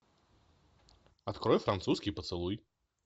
открой французский поцелуй